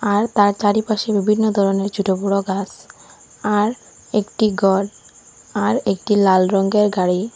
আর তার চারিপাশে বিভিন্ন ধরনের ছোটবড় গাছ আর একটি গর আর একটি লাল রঙের গাড়ি।